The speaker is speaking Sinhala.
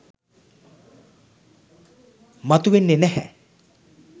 මතු වෙන්නේ නැහැ.